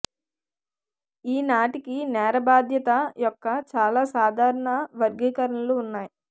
ఈనాటికి నేర బాధ్యత యొక్క చాలా సాధారణ వర్గీకరణలు ఉన్నాయి